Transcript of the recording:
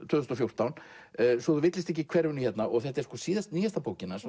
tvö þúsund og fjórtán svo þú villist ekki í hverfinu hérna þetta er nýjasta bókin hans